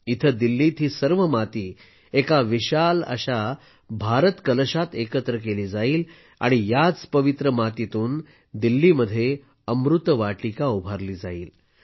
इथे दिल्लीत ही सर्व माती एका विशाल अशा भारत कलशात एकत्र केली जाईल आणि याच पवित्र मातीतून दिल्लीत अमृत वाटिका उभारली जाईल